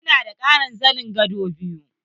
Ina da ƙarin zanen gado biyu.